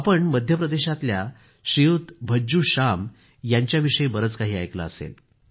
आपण मध्य प्रदेशातल्या भज्जू श्याम यांच्याविषयी बरंच काही ऐकलं असेल